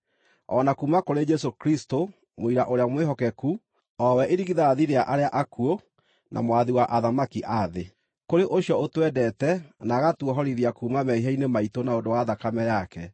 o na kuuma kũrĩ Jesũ Kristũ, mũira ũrĩa mwĩhokeku, o we irigithathi rĩa arĩa akuũ, na mwathi wa athamaki a thĩ. Kũrĩ ũcio ũtwendete, na agatuohorithia kuuma mehia-inĩ maitũ na ũndũ wa thakame yake,